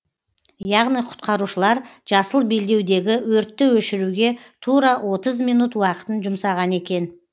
яғни құтқарушылар жасыл белдеудегі өртті өшіруге тура отыз минут уақытын жұмсаған екен